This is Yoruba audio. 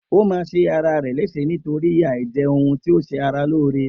O ma ṣe ara rè léṣe nítorí àìjẹ ohun tí ọ ṣe ara lóore